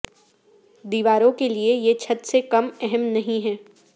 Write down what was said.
دیواروں کے لئے یہ چھت سے کم اہم نہیں ہے